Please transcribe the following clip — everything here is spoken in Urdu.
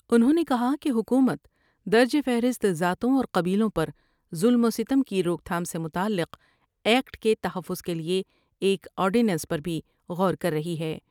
انہوں نے کہا کہ حکومت درج فہرست ذاتوں اور قبیلوں پرظلم وستم کی روک تھام سے متعلق ایکٹ کے تحفظ کے لئے ایک آرڈیننس پر بھی غور کر رہی ہے ۔